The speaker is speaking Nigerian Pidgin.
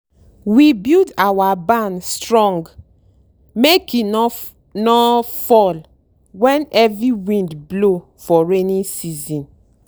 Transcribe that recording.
we build our barn strong make e no no fall when heavy wind blow for rainy season.